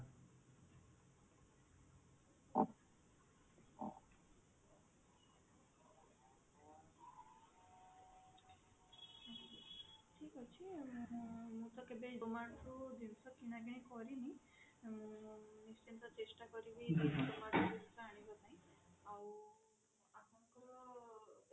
ଠିକ ଅଛି ମୁଁ ରୁ ଜିନିଷ କିଣା କିଣି କରିନି ମୁଁ କିନ୍ତୁ ଚେଷ୍ଟା କରିବି ଆଉ